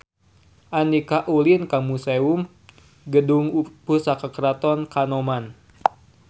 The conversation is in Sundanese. Andika ulin ka Museum Gedung Pusaka Keraton Kanoman